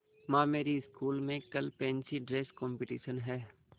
माँ मेरी स्कूल में कल फैंसी ड्रेस कॉम्पिटिशन है